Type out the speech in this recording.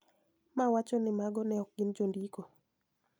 Ma wacho ni mago ne ok gin jondiko